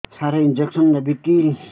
ସାର injection ନେବିକି